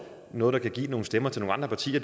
noget der kan give nogle stemmer til nogle andre partier